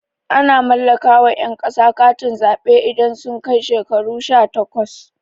Ana mallaka wa ƴan ƙasa katin zaɓe idan sun kai shekaru shatakwas